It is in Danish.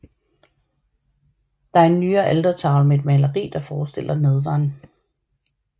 Der er en nyere altertavle med et maleri der forestiller Nadveren